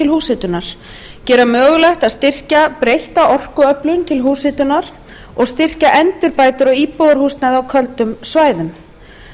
húshitunar gera mögulegt að styrkja breytta orkuöflun til húshitunar og styrkja endurbætur á íbúðarhúsnæði á köldum svæðum